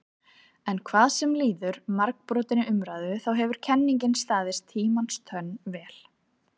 En hvað sem líður margbrotinni umræðu þá hefur kenningin staðist tímans tönn vel.